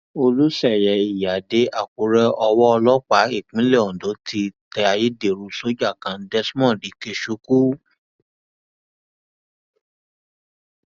olùṣeyẹ ìyíáde àkùrẹ owó ọlọpàá ìpínlẹ ondo ti tẹ ayédèrú sójà kan desmond ikechukwu